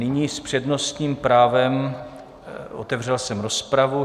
Nyní s přednostním právem - otevřel jsem rozpravu.